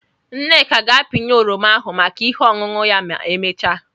Nneka ga-apịnye oroma ahụ maka ihe ọṅụṅụ ya ma emechaa.